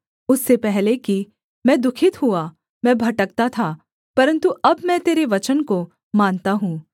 उससे पहले कि मैं दुःखित हुआ मैं भटकता था परन्तु अब मैं तेरे वचन को मानता हूँ